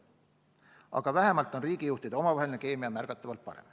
Aga vähemalt on riigijuhtide omavaheline keemia märgatavalt parem.